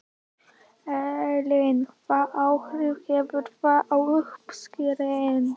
Elín: Hvaða áhrif hefur það á uppskeruna?